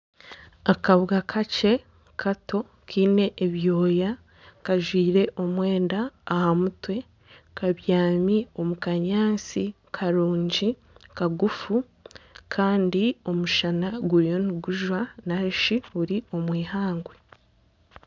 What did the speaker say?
Akabwa kakye Kato Kaine ebyooya kajwaire omwenda aha mutwe kabyaami omu kanyatsi karungi kagufu Kandi omushana guriyo nigujwa narishi buri omu ihangwe.